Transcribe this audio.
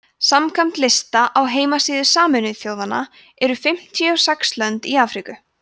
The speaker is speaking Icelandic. samkvæmt lista á heimasíðu sameinuðu þjóðanna eru fimmtíu og sex lönd í afríku